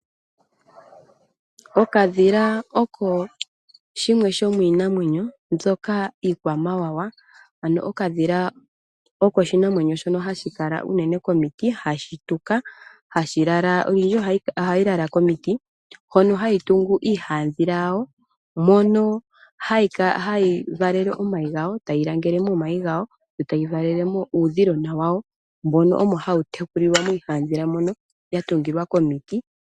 Okadhila osho shimwe shomiinamwenyo mbyoka iikwamawawa, ano okadhila oko oshinamwenyo shono hashi kala unene komiti hashi tuka nohashi lala komiti hoka hashi tungile oshihadhila . Moshihadhila omo uudhila hawu valele omayi gawo, tawu langele omayi gawo nokuvalela mo uudhilona wawo , ano uudhilona ohawu tekulilwa miihadhila.